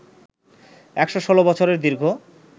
১১৬ বছরের দীর্ঘ